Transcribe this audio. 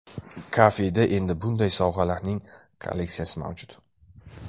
Kafeda endi bunday sovg‘alarning kolleksiyasi mavjud.